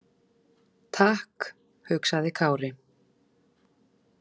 Takk, hugsaði Kári.